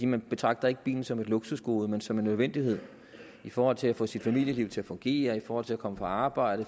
man betragter ikke bilen som et luksusgode men som en nødvendighed i forhold til at få sit familieliv til at fungere i forhold til at komme på arbejde